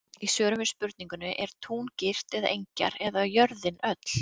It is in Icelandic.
Í svörum við spurningunni: Er tún girt eða engjar eða jörðin öll?